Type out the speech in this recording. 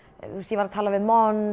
ég var að tala við